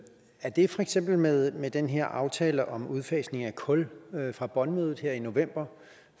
er det for eksempel med med den her aftale om udfasning af kul fra bonn mødet her i november